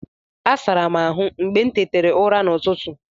Asara m ihu m mgbe m tetere ụra n'ụtụtụ.